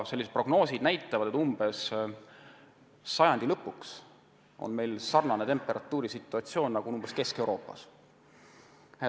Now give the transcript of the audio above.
Prognoosid näitavad, et umbes sajandi lõpuks on meil sarnane temperatuur, nagu on Kesk-Euroopas.